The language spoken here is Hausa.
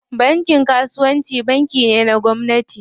Bankin kasuwanci banki ne na gwamnati.